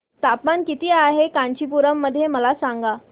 तापमान किती आहे कांचीपुरम मध्ये मला सांगा